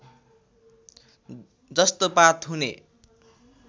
जस्तो पात हुने